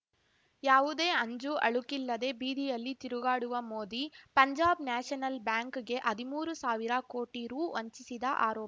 ಯಾವುದೇ ಅಂಜುಅಳುಕಿಲ್ಲದೆ ಬೀದಿಯಲ್ಲಿ ತಿರುಗಾಡುವ ಮೋದಿ ಪಂಜಾಬ್ ನ್ಯಾಷನಲ್ ಬ್ಯಾಂಕ್‌ಗೆ ಹದಿಮೂರು ಸಾವಿರ ಕೋಟಿ ರೂ ವಂಚಿಸಿದ ಆರೋ